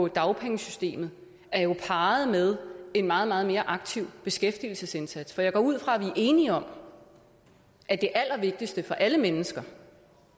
dagpengesystemet er jo parret med en meget meget mere aktiv beskæftigelsesindsats for jeg går ud fra at vi er enige om at det allervigtigste for alle mennesker